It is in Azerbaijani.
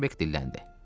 Starbek dilləndi.